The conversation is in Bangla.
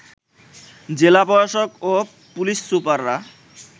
জেলা প্রশাসক ও পুলিশ সুপাররা